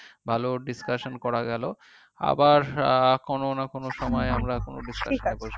ভালো discussion করা গেলো আবার কোনো না কোনো সময় আমরা কোনো discussion